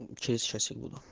через часик буду